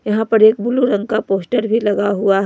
यहां पर एक ब्लू रंग का पोस्टर भी लगा हुआ है।